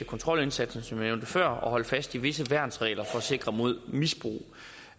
kontrolindsatsen som jeg nævnte før at holde fast i visse værnsregler for at sikre mod misbrug